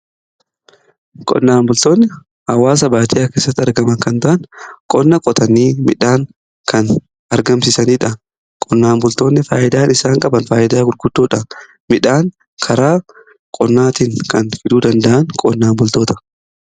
Qonnaan bultoonni hawaasa baadiyya kessatti argama kan ta'an qonna qotanii midhaan kan argamsiisaniidha. Qonnaan bultoonni faayyidaan isaan qaban faayidaa guguddoodha midhaan karaa qonnaatiin kan fiduu danda'an qonnaan bultoota.